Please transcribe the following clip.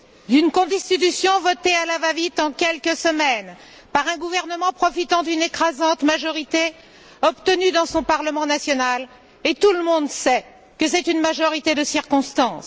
D'une Constitution votée à la va vite, en quelques semaines, par un gouvernement profitant d'une écrasante majorité, obtenue dans son parlement national, et tout le monde sait que c'est une majorité de circonstance.